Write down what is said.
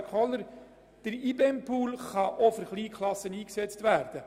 Kohler: Der IBEM-Pool kann auch für Kleinklassen eingesetzt werden.